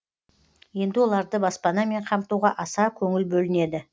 енді оларды баспанамен қамтуға аса көңіл бөлінеді